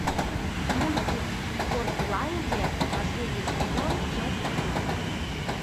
мультик портландия последний сезон часть пятнадцать